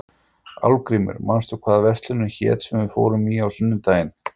Álfgrímur, manstu hvað verslunin hét sem við fórum í á sunnudaginn?